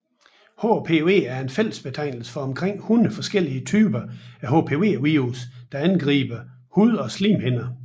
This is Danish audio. HPV er fællesbetegnelse for en omkring 100 forskellige typer af HPV virus der angriber hud og slimhinder